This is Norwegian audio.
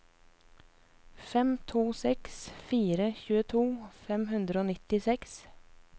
fem to seks fire tjueto fem hundre og nittiseks